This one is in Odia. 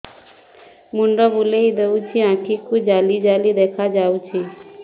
ମୁଣ୍ଡ ବୁଲେଇ ଦେଉଛି ଆଖି କୁ ଜାଲି ଜାଲି ଦେଖା ଯାଉଛି